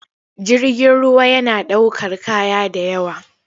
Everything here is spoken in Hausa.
Jirgin ruwa yana ɗaukar kaya da yawa.